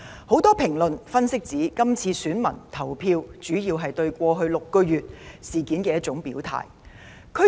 很多評論及分析都指出，選民這次投票主要是為了對過去6個月所發生的事情表態。